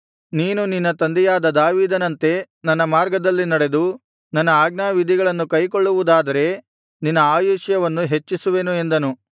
ನೀನು ನಿನ್ನ ತಂದೆಯಾದ ದಾವೀದನಂತೆ ನನ್ನ ಮಾರ್ಗದಲ್ಲಿ ನಡೆದು ನನ್ನ ಆಜ್ಞಾವಿಧಿಗಳನ್ನು ಕೈಕೊಳ್ಳುವುದಾದರೆ ನಿನ್ನ ಆಯುಷ್ಯವನ್ನು ಹೆಚ್ಚಿಸುವೆನು ಎಂದನು